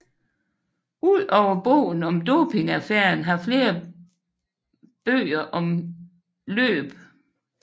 Udover bogen om dopingaffæren har flere bøger om løb